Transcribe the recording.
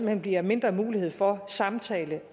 hen bliver mindre mulighed for samtale